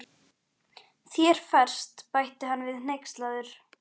Þér ferst, bætti hann við hneykslaður.